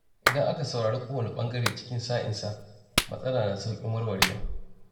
Idan aka saurari kowane ɓangare cikin sa-in-sa, matsala na sauƙin warwarewa.